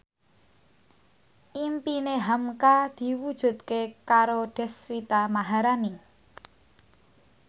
impine hamka diwujudke karo Deswita Maharani